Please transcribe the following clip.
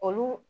Olu